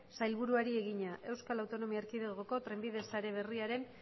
sailburuari egina eaeko trenbide sare berriaren